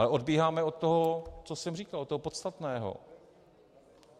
Ale odbíháme od toho, co jsem říkal, od toho podstatného.